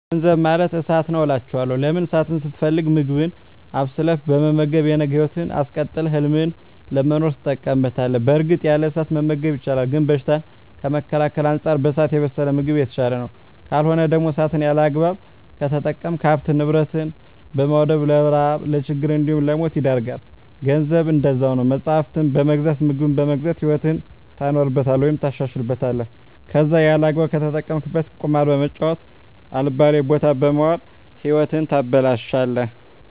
ገንዘብ ማለት እሳት ነዉ አላቸዋለሁ። ለምን እሳትን ስትፈልግ ምግብህን አብስለህ በመመገብ የነገ ህይወትህን አስቀጥለህ ህልምህን ለመኖር ትጠቀምበታለህ በእርግጥ ያለ እሳት መመገብ ይቻላል ግን በሽታን ከመከላከል አንፃር በእሳት የበሰለ ምግብ የተሻለ ነዉ። ካልሆነ ደግሞ እሳትን ያለአግባብ ከተጠቀምክ ሀብትን ንብረት በማዉደም ለረሀብ ለችግር እንዲሁም ለሞት ይዳርጋል። ገንዘብም እንደዛዉ ነዉ መፅሀፍትን በመግዛት ምግብን በመግዛት ህይወትህን ታኖርበታለህ ወይም ታሻሽልበታለህ ከለዛ ያለአግባብ ከተጠቀምከዉ ቁማር በመጫወት አልባሌ ቦታ በመዋል ህይወትህን ታበላሸለህ።